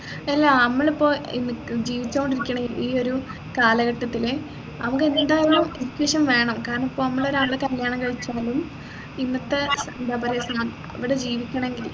എല്ലാ നമ്മളിപ്പോ ഏർ ജീവിച്ചോണ്ടിരിക്കുന്ന ഈ ഒരു കാലഘട്ടത്തില് നമ്മുക്ക് എന്തായാലും discussion വേണം കാരണം നമ്മളിപ്പോ ഒരാളെ കല്യാണം കഴിച്ചാല് ഇന്നത്തെ എന്താ പറയാ അവിടെ ജീവിക്കണെങ്കിൽ